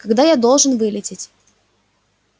когда я должен вылететь